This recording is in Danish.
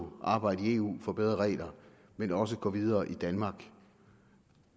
arbejde i eu for bedre regler men også gå videre i danmark